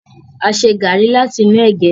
a ṣe garri láti inú ege.